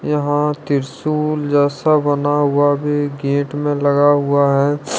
यहां त्रिशूल जैसा बना हुआ भी गेट में लगा हुआ है।